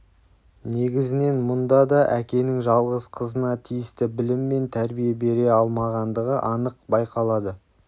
негізінен мұнда да әкенің жалғыз қызына тиісті білім мен тәрбие бере алмағандығы анық байқалады